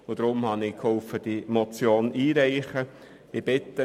Aus diesem Grund habe ich mich an der Einreichung dieser Motion beteiligt.